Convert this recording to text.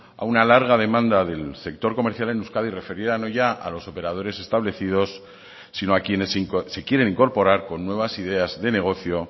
a una larga demanda del sector comercial en euskadi referida no ya a los operadores establecidos si no a quienes se quieren incorporar con nuevas ideas de negocio